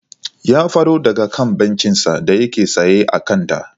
Ya fado daga kan bencinsa da yake tsaye a kanta.